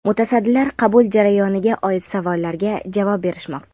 Mutasaddilar qabul jarayoniga oid savollarga javob berishmoqda.